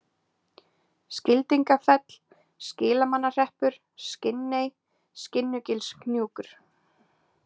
Skildingafell, Skilmannahreppur, Skinney, Skinnugilshnjúkur